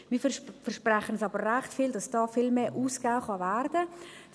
Wir versprechen uns aber recht viel davon, dass hier viel mehr ausgegeben werden kann.